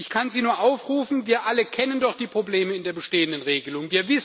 Ich kann Sie nur aufrufen wir alle kennen doch die Probleme in der bestehenden Regelung.